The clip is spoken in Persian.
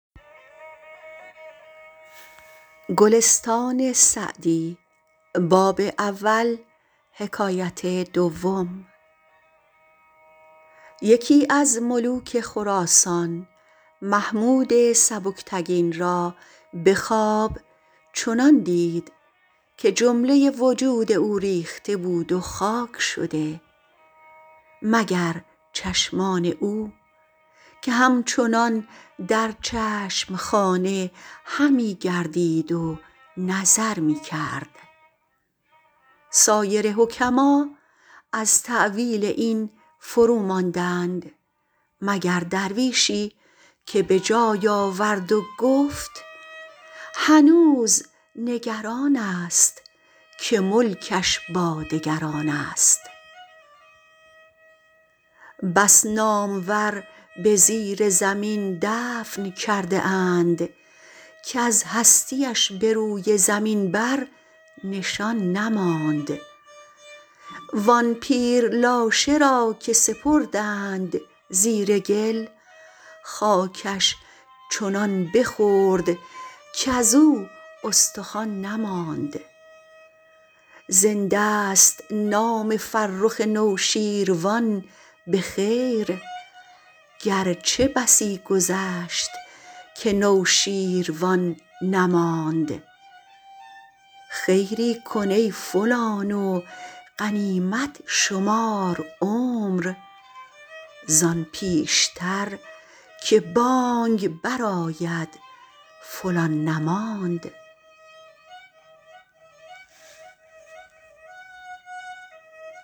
یکی از ملوک خراسان محمود سبکتگین را به خواب چنان دید که جمله وجود او ریخته بود و خاک شده مگر چشمان او که همچنان در چشم خانه همی گردید و نظر می کرد سایر حکما از تأویل این فروماندند مگر درویشی که به جای آورد و گفت هنوز نگران است که ملکش با دگران است بس نامور به زیر زمین دفن کرده اند کز هستی اش به روی زمین بر نشان نماند وآن پیر لاشه را که سپردند زیر گل خاکش چنان بخورد کزو استخوان نماند زنده ست نام فرخ نوشین روان به خیر گرچه بسی گذشت که نوشین روان نماند خیری کن ای فلان و غنیمت شمار عمر زآن پیشتر که بانگ بر آید فلان نماند